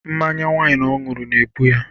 Mmanya waịn ọ ṅụrụ na-egbu ya.